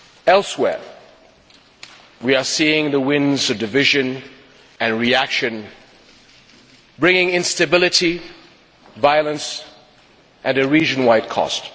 Elsewhere, we are seeing the winds of division and reaction, bringing instability, violence and a region wide cost.